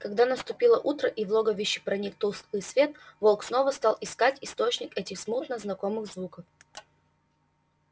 когда наступило утро и в логовище проник тусклый свет волк снова стал искать источник этих смутно знакомых звуков